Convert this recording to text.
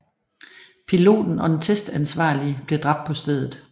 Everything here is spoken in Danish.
Piloten og den testansvarlige blev dræbt på stedet